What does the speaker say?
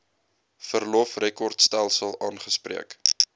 verlof rekordstelsel aangespreek